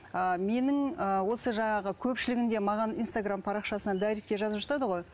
ы менің ыыы осы жаңағы көпшілігінде маған инстаргам парақшасынан дайректіге жазып жатады ғой